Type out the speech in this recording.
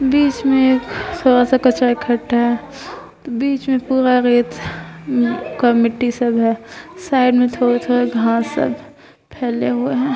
बीच में थोड़ा सा कचरा इकट्ठे है बीच में पूरा रेट मिट्टी सब है साइड में थोड़ा-थोड़ा घास है फैले हुए है।